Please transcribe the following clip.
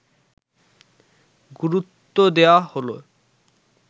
গুরুত্বদেয়া হলে